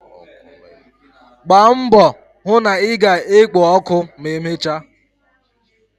Gbaa mbọ hụ na ị ga-ekpo ọkụ ma emechaa!.